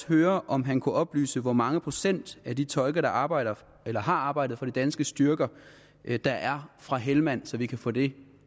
høre om han kunne oplyse hvor mange procent af de tolke der arbejder eller har arbejdet for de danske styrker der er fra helmand så vi kan få det